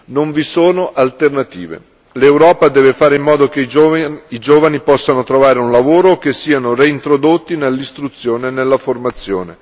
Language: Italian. Non vi sono alternative, l'Europa deve fare in modo che i giovani possano trovare un lavoro o che siano reintrodotti nell'istruzione e nella formazione.